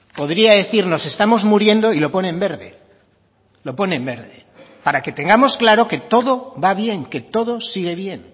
podría decir nos estamos muriendo y lo pone en verde lo pone en verde para que tengamos claro que todo va bien que todo sigue bien